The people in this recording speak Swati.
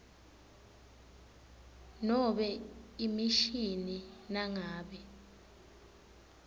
nobe emishini nangabe